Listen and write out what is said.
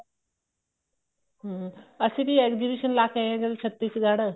ਹਮ ਅਸੀਂ ਵੀ exhibition ਲਾਕੇ ਆਏ ਆ ਜਦੋਂ ਛੱਤੀਸ਼ਗੜ੍ਹ